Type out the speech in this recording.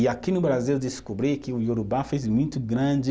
E aqui no Brasil eu descobri que o Iorubá fez muito grande